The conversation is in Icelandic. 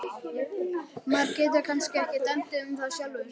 Maður getur kannski ekki dæmt um það sjálfur.